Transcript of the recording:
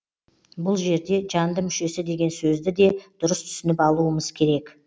бұл жерде жанды мүшесі деген сөзді де дұрыс түсініп алуымыз керек